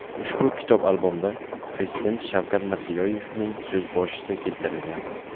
Ushbu kitob-albomda Prezident Shavkat Mirziyoyevning so‘zboshisi keltirilgan.